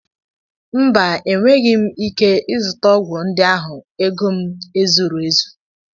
Mba, enweghị m ike ịzụta ọgwụ ndị ahụ, ego m ezuru ezu